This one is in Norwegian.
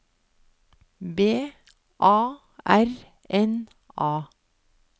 B A R N A